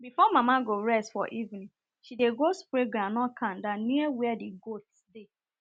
before mama go rest for evening she go spray groundnut kanda near where the goats dey